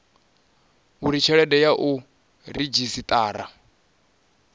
uri tshelede ya u redzhisiṱara